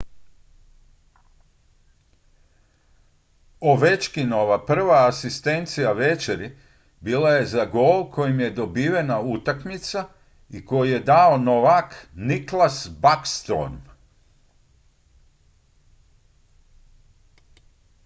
ovechkinova prva asistencija večeri bila je za gol kojim je dobivena utakmica i koji je dao novak nicklas backstrom